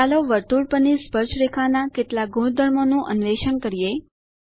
ચાલો વર્તુળ પરની સ્પર્શરેખા ના કેટલાક ગુણધર્મો નું અન્વેષણ કરીએ